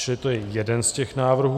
Čili to je jeden z těch návrhů.